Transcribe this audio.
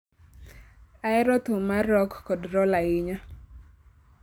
Ahero thum mar rock kod roll ahinya